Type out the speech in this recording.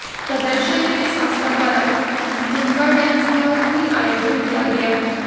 प्रदर्शनी में संस्था द्वारा जुम्बा डांस का भी आयोजन किया गया